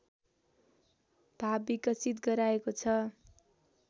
भाव विकसित गराएको छ